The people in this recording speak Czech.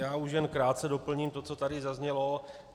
Já už jen krátce doplním to, co tady zaznělo.